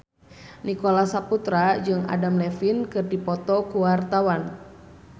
Nicholas Saputra jeung Adam Levine keur dipoto ku wartawan